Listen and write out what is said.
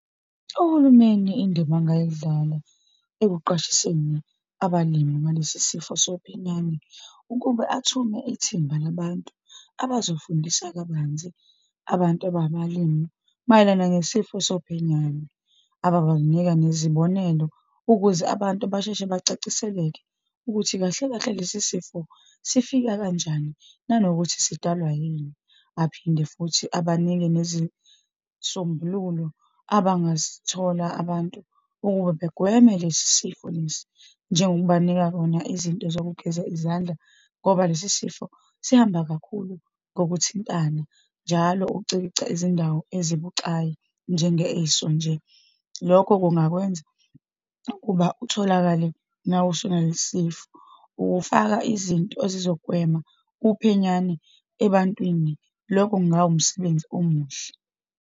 Uhulumeni, indima angayidlala ekuqwashiseni abalimi ngalesi sifo sophenyane, ukube athume ithimba labantu abazofundisa kabanzi abantu abangabalimi mayelana ngesifo sophenyane, ababanika nezibonelo, ukuze abantu basheshe bacaciseleke, ukuthi kahle kahle lesi sifo sifika kanjani, nanokuthi sidalwa yini. Aphinde futhi abanike nezisombululo abangazithola abantu ukube begweme lesi sifo lesi, njengokubanika kona izinto zokugeza izandla, ngoba lesi sifo sihamba kakhulu ngokuthintana, njalo ukucikica izindawo ezibucayi, njengeso nje. Lokho kungakwenza ukuba utholakale nawe usunalesisifo. Ukufaka izinto ezizogwema uphenyane ebantwini, lokho kungawumsebenzi omuhle.